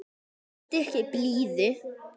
Sýndu ekki blíðu.